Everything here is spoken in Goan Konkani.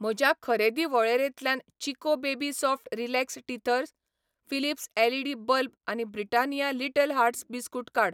म्हज्या खरेदी वळेरेंतल्यान Chicco baby soft relax teethers, Philips LED bulb आनी ब्रिटानिया लिटल हार्ट्स बिस्कुट काड.